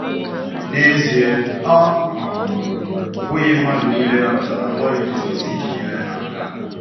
N'ezie, ọ um bụghị mmadụ niile nabatara mgbalị Jisọs iji nyere ha aka.